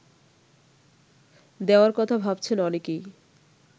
দেওয়ার কথা ভাবছেন অনেকেই